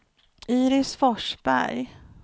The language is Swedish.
Iris Forsberg